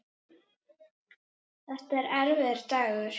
Þetta var erfiður dagur.